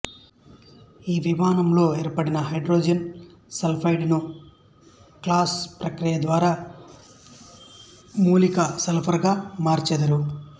ఈ విశానంలో ఏర్పడిన హైడ్రోజన్ సల్ఫైడ్ ను క్లాస్ ప్రక్రియ ద్వారా మూలక సల్ఫర్ గా మార్చెదరు